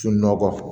Sunɔgɔ